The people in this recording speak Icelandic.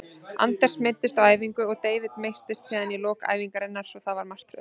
Anders meiddist á æfingu og David meiddist síðan í lok æfingarinnar svo það var martröð.